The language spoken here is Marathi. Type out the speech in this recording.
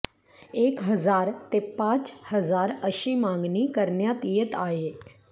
एक हजार ते पाच हजार अशी मागणी करण्यात येत आहे